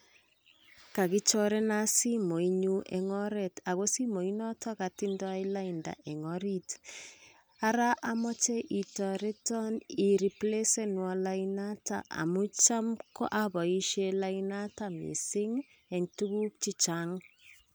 kakichorenan simoit nyuun en oret ako simoit noton kotindo laida en orit araa omoche itoreton ireplesenuan lainoton amun cham oboishen lainoton missing en tukuk chechang.